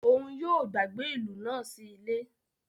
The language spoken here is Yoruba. Òún yóò gbàgbé ilú náà sí ile